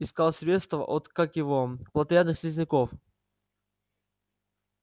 искал средство от как его плотоядных слизняков